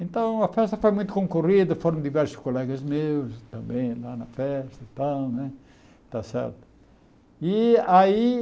Então, a festa foi muito concorrida, foram diversos colegas meus também lá na festa e tal né está certo e aí.